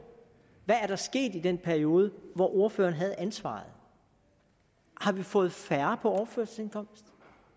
hvad er der sket i den periode hvor ordføreren havde ansvaret har vi fået færre på overførselsindkomst